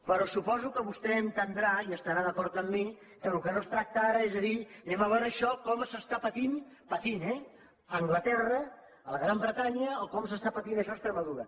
però suposo que vostè entendrà i estarà d’acord amb mi que del que no es tracta ara és de dir anem a veure això com s’està patint patint eh a anglaterra a la gran bretanya o com s’està patint això a extremadura